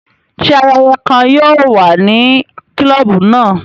Ṣe ayẹyẹ kàn yóò wà ní klobu náà?